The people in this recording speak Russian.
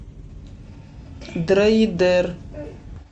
дрейдер